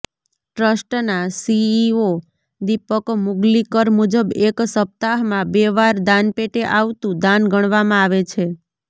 ટ્ર્સ્ટના CEO Deepak Mugalikar મુજબ એક સપ્તાહમાં બે વાર દાનપેટે આવતું દાન ગણવામાં આવે છે